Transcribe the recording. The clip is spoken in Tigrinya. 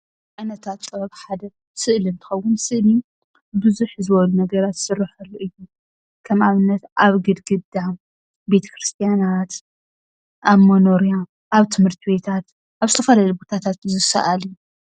ካብ ዓይነታት ጥበብ ሓደ ስእሊ እንትኸውን ስእሊ ብዝሕ ዝበሉ ነገራት ዝስረሐሉ እዩ፡፡ ከም ኣብነት ኣብ ግድግዳ፣ ቤተ-ክርስትያናት፣ ኣብ መኖርያ ኣብ ት/ት ቤታት ኣብ ዝተፈላለዩ ቦታታት ዝሰኣል እዩ፡፡